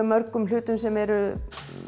mörgum hlutum sem eru